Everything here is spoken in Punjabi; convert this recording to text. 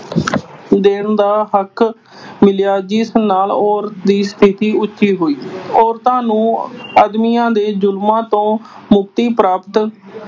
ਦੇਣ ਦਾ ਹੱਕ ਮਿਲਿਆ ਜਿਸ ਨਾਲ ਔਰਤ ਦੀ ਸਥਿਤੀ ਉੱਚੀ ਹੋਈ। ਔਰਤਾਂ ਨੂੰ ਆਦਮੀਆਂ ਦੇ ਜ਼ੁਲਮਾਂ ਤੋਂ ਮੁਕਤੀ ਪ੍ਰਾਪਤ